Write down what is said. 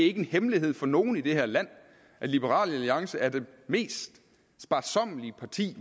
ikke en hemmelighed for nogen i det her land at liberal alliance er det mest sparsommelige parti